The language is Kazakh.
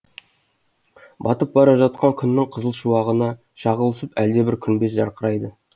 батып бара жатқан күннің қызыл шуағына шағылысып әлдебір күмбез жарқырайды